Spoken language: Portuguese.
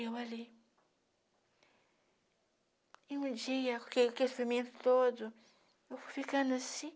Eu ali... E um dia, com aquele experimento todo, eu fui ficando assim.